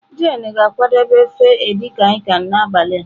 Jane ga-akwadebe ofe edikaikan n'abalị a.